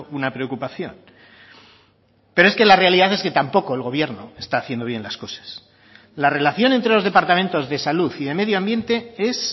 una preocupación pero es que la realidad es que tampoco el gobierno está haciendo bien las cosas la relación entre los departamentos de salud y de medio ambiente es